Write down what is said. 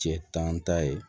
Cɛ tan ta ye